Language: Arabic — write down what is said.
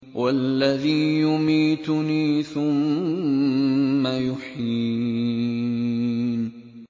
وَالَّذِي يُمِيتُنِي ثُمَّ يُحْيِينِ